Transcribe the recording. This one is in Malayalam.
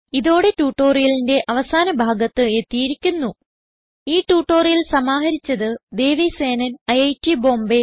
ഇതോടെ ട്യൂട്ടോറിയലിന്റെ അവസാന ഭാഗത്ത് എത്തിയിരിക്കുന്നു ഈ ട്യൂട്ടോറിയൽ സമാഹരിച്ചത് ദേവി സേനൻ ഐറ്റ് ബോംബേ